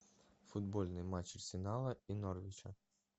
футбольный матч арсенала и норвича